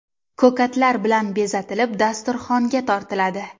Ko‘katlar bilan bezatilib, dasturxonga tortiladi.